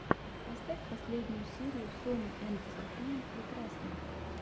поставь последнюю серию сони энд софии прекрасной